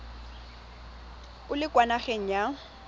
o le kwa nageng ya